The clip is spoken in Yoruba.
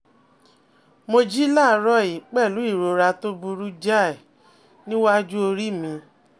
Mo jí láàárọ̀ yìí pẹ̀lú ìrora tó burú jáì nínú iwájú orí mi